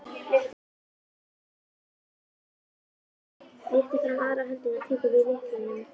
Réttir fram aðra höndina og tekur við lyklinum.